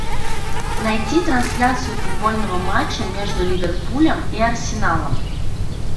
найти трансляцию футбольного матча между ливерпулем и арсеналом